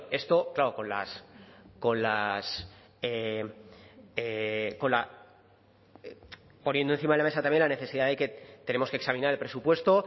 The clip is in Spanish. esto claro poniendo encima de la mesa también la necesidad de que tenemos que examinar el presupuesto